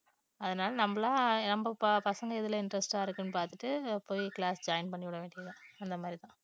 அதனால நம்பலா நம்ம பசங்க எதுல interest ஆ இருக்குன்னு பார்த்துட்டு போய் class join பண்ணிவிட வேண்டியதுதான்